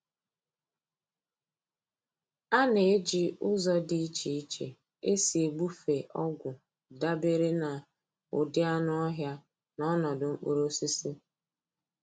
A na-eji ụzọ dị iche iche esi egbufe ọgwụ dabere na ụdị anụ ọhịa na ọnọdụ mkpụrụ osisi.